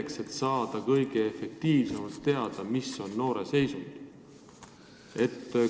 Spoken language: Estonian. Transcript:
Kuidas ikkagi saada kõige otstarbekamalt teada iga noore käekäiku?